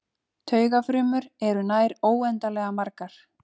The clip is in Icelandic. Taugafrumur eru nær óendanlega margar.